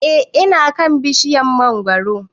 E ina kan bishiryar mangoro